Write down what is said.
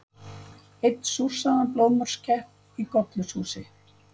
Einn súrsaðan blóðmörskepp í gollurshúsi.